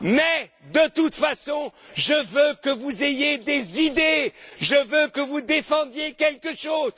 Mais, de toute façon, je veux que vous ayez des idées, je veux que vous défendiez quelque chose.